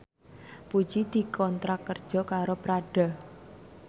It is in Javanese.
Puji dikontrak kerja karo Prada